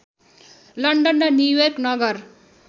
London र New York नगर